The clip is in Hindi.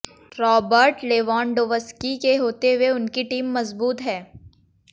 रॉबर्ट लेवांडोव्स्की के होते हुए उनकी टीम मजबूत है